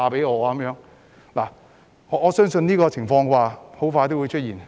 我相信這種情況很快會出現。